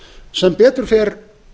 sem betur fer